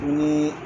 Ni